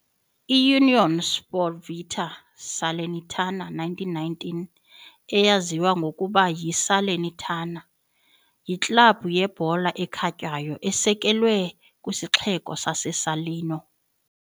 IUnione Sportiva Salernitana 1919, eyaziwa ngokuba yi Salernitana, yiklabhu yebhola ekhatywayo esekelwe kwisixeko sase Salerno .